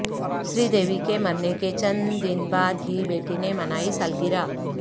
سری دیوی کے مرنے کے چند دن بعد ہی بیٹی نے منائی سالگرہ